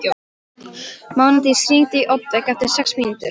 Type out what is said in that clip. Mánadís, hringdu í Oddveigu eftir sex mínútur.